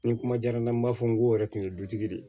Ni kuma diyara n ye n b'a fɔ n ko o yɛrɛ tun ye dutigi de ye